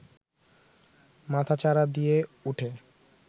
মাথাচাড়া দিয়ে উঠে